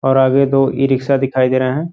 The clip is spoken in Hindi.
और आगे दो इरिक्षा दिखाई दे रहे हैं।